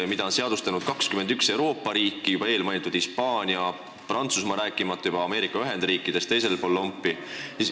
Hümni on ju seadustanud 21 Euroopa riiki, sh eelmainitud Hispaania ja Prantsusmaa, rääkimata Ameerika Ühendriikidest teisel pool lompi.